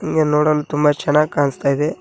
ಹಿಂಗೆ ನೋಡಲು ತುಂಬ ಚೆನ್ನಾಗಿ ಕಾಣಿಸ್ತಾ ಇದೆ.